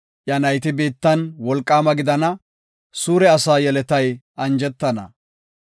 Iya nayti biittan wolqaama gidana; suure asaa yeletay anjetana.